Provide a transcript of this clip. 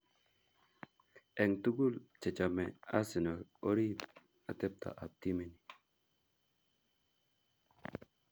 Eng tugul che chome Arsenal orib atepto ab timit ni.